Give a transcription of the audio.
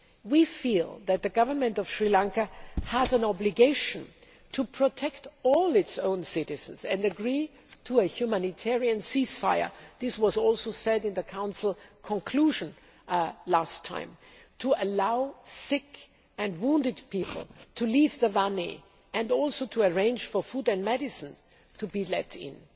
We feel that the Government of Sri Lanka has an obligation to protect all its own citizens and agree to a humanitarian ceasefire this was also said in the Council conclusions last time to allow sick and wounded people to leave Vanni and to arrange for food and medicine to be let in.